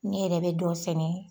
Ne yɛrɛ bɛ dɔ sɛnɛ